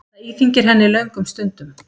Það íþyngir henni löngum stundum.